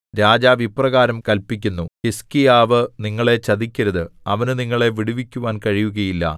രാജാവ് ഇപ്രകാരം കല്പിക്കുന്നു ഹിസ്കീയാവ് നിങ്ങളെ ചതിക്കരുത് അവനു നിങ്ങളെ വിടുവിക്കുവാൻ കഴിയുകയില്ല